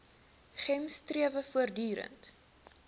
gems strewe voortdurend